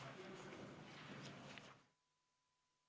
Istungi lõpp kell 11.03.